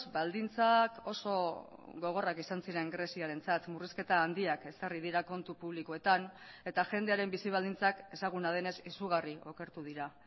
baldintzak oso gogorrak izan ziren greziarentzat murrizketa handiak ezarri dira kontu publikoetan eta jendearen bizi baldintzak ezaguna denez izugarri okertu dira